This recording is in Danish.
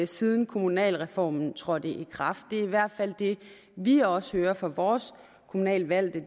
siden kommunalreformen trådte i kraft det er i hvert fald det vi også hører fra vores kommunalt valgte